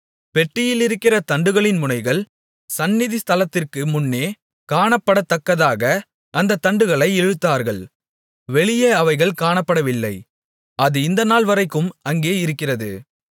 பெட்டியிலிருக்கிற தண்டுகளின் முனைகள் சந்நிதி ஸ்தலத்திற்கு முன்னே காணப்படத்தக்கதாக அந்தத் தண்டுகளை இழுத்தார்கள் வெளியே அவைகள் காணப்படவில்லை அது இந்த நாள்வரைக்கும் அங்கே இருக்கிறது